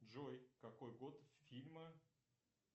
джой какой год фильма